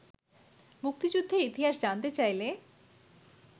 মুক্তিযুদ্ধের ইতিহাস জানতে চাইলে